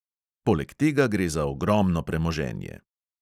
Poleg tega gre za ogromno premoženje.